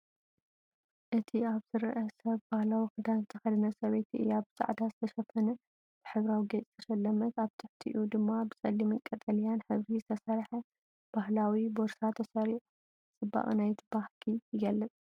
እቲ ኣብ ዝርአ ሰብ ባህላዊ ክዳን ዝተኸድነ ሰበይቲ እያ። ብጻዕዳ ዝተሸፈነ፡ ብሕብራዊ ጌጽ ዝተሰለመት። ኣብ ትሕቲኡ ድማ ብጸሊምን ቀጠልያን ሕብሪ ዝተሰርሐ ባህላዊ ቦርሳ ተሰሪዑ፡ ጽባቐ ናይቲ ባህሊ ይገልጽ።